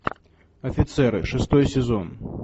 офицеры шестой сезон